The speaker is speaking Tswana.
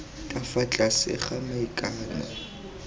ka fa tlase ga maikano